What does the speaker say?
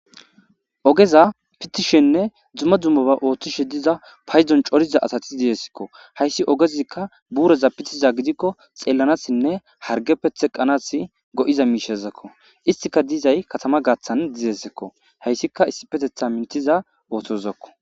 ogeza pitishenne dzuma dzummoba ooththishe diza payzon coriza asati diyesekko hayssi ogezikka buureza pitiza gidikko xeelanassinne hargeppe xeqqanas go7iza miishezakko istika diizay katama gaathan dizesekko hayssika issi petetha mintiza oottozakko